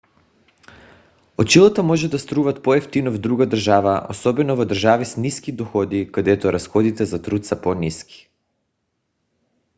очилата може да струват по-евтино в друга държава особено в държави с ниски доходи където разходите за труд са по-ниски